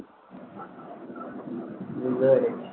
বুঝতে পেরেছি।